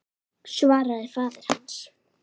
svaraði faðir hans.